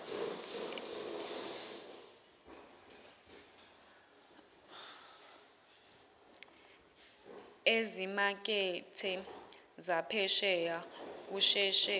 ezimakethe zaphesheya kusheshe